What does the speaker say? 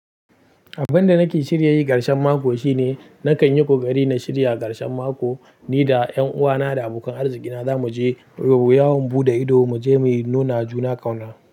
Abin da nake shirya yi ƙarshen mako shine nakan yi ƙoƙari na shirya ƙarshen mako ni da ƴanuwana da abokan arziki na za mu je yawon buɗe ido, mu je mu nuna juna ƙauna.